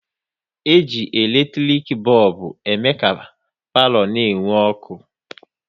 E ji eletrik bọlbụ ème ka palo na-enwu ọkụ